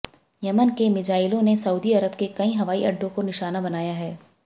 Yemen के मीज़ाइलों ने सऊदी अरब के कई हवाई अड्डों को निशाना बनाया है